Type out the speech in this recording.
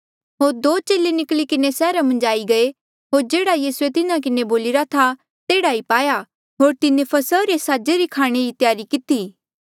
होर दो चेले निकली किन्हें सैहरा मन्झ आई गये होर जेह्ड़ा यीसूए तिन्हा किन्हें बोलिरा था तेह्ड़ा ई पाया होर तिन्हें फसहा रे साजे रे खाणे री त्यारी किती